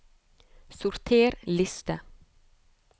Sorter liste